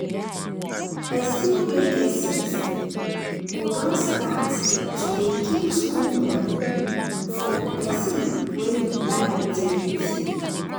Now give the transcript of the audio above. person wey get sense go don start to dey keep school money for person wey e like tey tey.